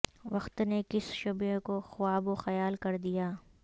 وقت نے کس شبیہ کو خواب و خیال کر دیا